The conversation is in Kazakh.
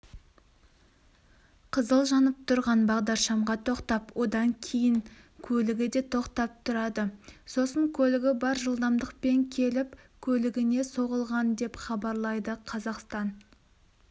қызыл жанып тұрған бағдаршамға тоқтап одан кейін көлігі де тоқтап тұрады сосын көлігі бар жылдамдықпен келіп көлігіне соғылған деп хабарлайды қазақстан